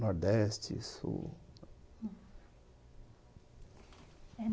Nordeste, sul.